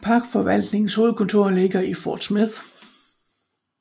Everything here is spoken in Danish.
Parkforvaltningens hovedkontor ligger i Fort Smith